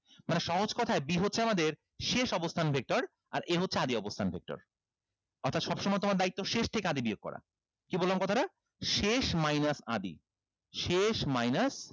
মানে সহজ কোথায় b হচ্ছে আমাদের শেষ অবস্থান vector আর a হচ্ছে আদি অবস্থান vector অর্থাৎ সবসময় তোমার দায়িত্ব শেষ থেকে আদি বিয়োগ করা কি বললাম কথাটা শেষ minus আদি শেষ minus